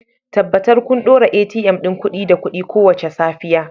Tabbatar kun ɗora ATM ɗin kuɗi da kuɗi kowace safiya